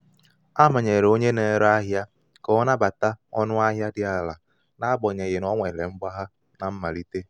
a manyere onye na-ere ahịa ka ọ nabata ka ọ nabata ọnụ ahịa dị ala n'agbanyeghị na o nwere mgbagha na mmalite.